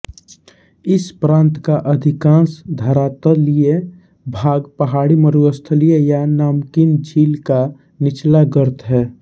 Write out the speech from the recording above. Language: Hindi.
इस प्रांत का अधिकांश धरातलीय भाग पहाड़ी मरुस्थलीय या नमकीन झील का निचला गर्त है